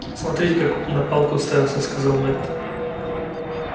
смотрите как на палку уставился сказал мэтт